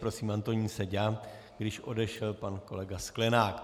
Prosím, Antonín Seďa, když odešel pan kolega Sklenák.